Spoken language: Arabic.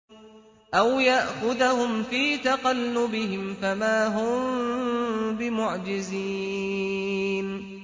أَوْ يَأْخُذَهُمْ فِي تَقَلُّبِهِمْ فَمَا هُم بِمُعْجِزِينَ